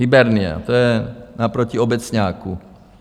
Hybernia, to je naproti Obecňáku.